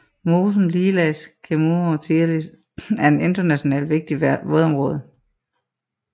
Mosen Lielais Ķemeru tīrelis er et internationalt vigtigt vådområde